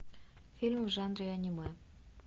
фильм в жанре аниме